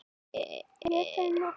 Það varaði í nokkrar mínútur.